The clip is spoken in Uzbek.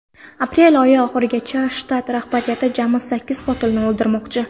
Aprel oyi oxirigacha shtat rahbariyati jami sakkiz qotilni o‘ldirmoqchi.